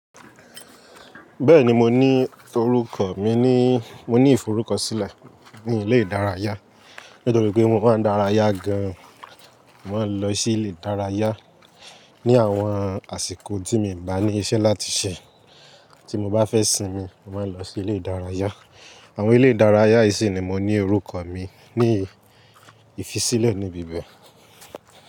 Bẹ́ẹ̀ni mo ní forúkọ mi ni mo ní ìforúkọ sílẹ̀ ní ilé ìdárayá nítorí pé mo máa ń daraya gan. Mo máa ń lọ sí ilé ìdárayá ni àwọn àsìkò tí mi bá ní iṣẹ́ láti ṣe tí mo bá fẹ́ sinmi, mo máa ń lọ sí ilé ìdárayá. Àwọn ilé ìdárayá yìí si ní mo ni orúkọ mi ní ìfisílẹ̀ níbí bẹ́ẹ̀